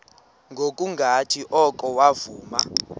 ngokungathi oko wavuma